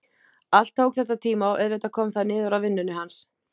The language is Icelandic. Allt tók þetta tíma og auðvitað kom það niður á vinnunni hans.